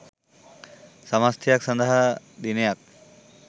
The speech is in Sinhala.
සමථයක් සඳහා දිනයක්